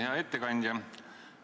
Hea ettekandja!